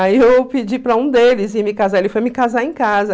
Aí eu pedi para um deles ir me casar, ele foi me casar em casa.